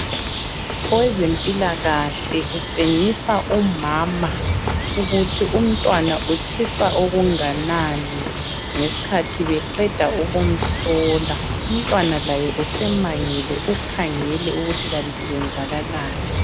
Owezempilakahle utshengisa umama ukuthi umntwana utshisa okunganani ngesikhathi beqeda ukumhlola, umntwana laye usemangele ukhangele ukuthi kanti kwenzakalani.